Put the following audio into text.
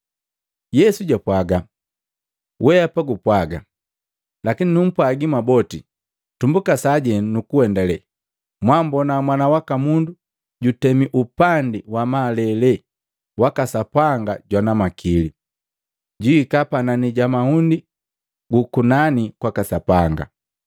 Yesu japwaaga, “Weapa gupwaga. Lakini numpwagi mwaboti tumbuka sajenu nukuendalee mwambona Mwana waka Mundu jutemi upandi wa malele waka Sapanga jwana makili, jwihika panani ja mahundi gukunani kwaka Sapanga.”